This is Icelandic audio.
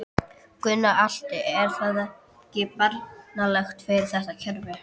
Gunnar Atli: Er það ekki bagalegt fyrir þetta kerfi?